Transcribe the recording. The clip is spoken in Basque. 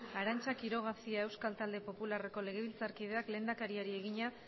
arantza quiroga cia euskal talde popularreko legebiltzarkideak lehendakariari egina